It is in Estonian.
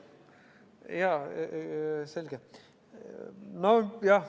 Jaa, selge.